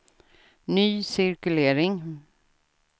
ny cirkulering